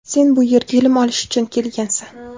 Sen bu yerga ilm olish uchun kelgansan.